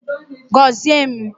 Gozie m!